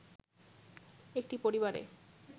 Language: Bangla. একটি পরিবারে